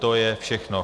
To je všechno.